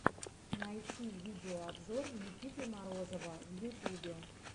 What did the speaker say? найти видеообзор никиты морозова в ютубе